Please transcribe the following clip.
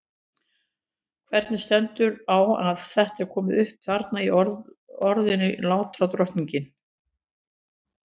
Hvernig stendur þá á að þetta er komi upp þarna í orðinu lánardrottinn?